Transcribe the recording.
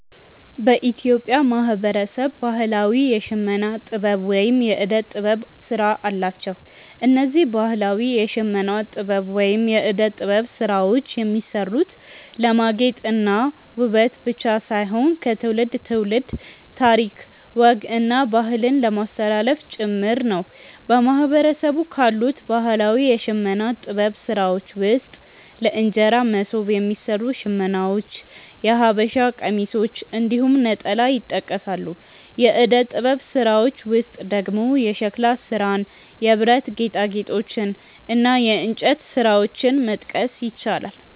በኢትዮጵያ ብዙ ማህበረሰብ ባህላዊ የሽመና ጥበብ ወይም የእደ ጥበብ ስራ አላቸው። እነዚህ ባህላዊ የሽመና ጥበብ ወይም የእደ ጥበብ ስራዎች የሚሰሩት ለማጌጥ እና ውበት ብቻ ሳይሆን ከትውልድ ትውልድ ታሪክ፣ ወግ እና ባህልን ለማስተላለፍ ጭምር ነው። በማህበረሰቡ ካሉት ባህላዊ የሽመና ጥበብ ስራዎች ውስጥ ለእንጀራ መሶብ የሚሰሩ ሽመናዎች፣ የሐበሻ ቀሚሶች እንዲሁም ነጠላ ይጠቀሳሉ። የእደ ጥበብ ስራዎች ውስጥ ደግሞ የሸክላ ስራን፣ የብረት ጌጣጌጦችን እና የእንጨት ስራዎችን መጥቀስ ይቻላል።